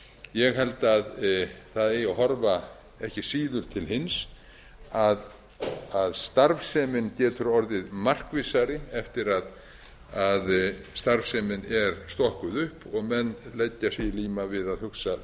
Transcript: ég held að það eigi að horfa ekki síður til hins að starfsemin getur orðið markvissari eftir að starfsemin er stokkuð upp og menn leggja sig í líma við að hugsa